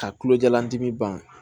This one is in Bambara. Ka tulojalan dimi ban